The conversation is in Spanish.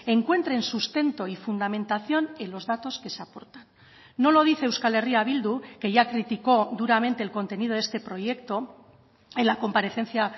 encuentren sustento y fundamentación en los datos que se aportan no lo dice euskal herria bildu que ya criticó duramente el contenido de este proyecto en la comparecencia